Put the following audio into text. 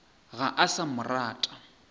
ga a sa mo rata